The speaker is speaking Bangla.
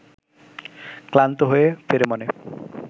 ক্লান্ত হয়ে ফেরে মনে